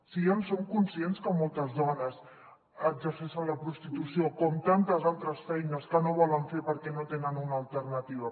si ja en som conscients que moltes dones exerceixen la prostitució com tantes altres feines que no volen fer perquè no tenen una alternativa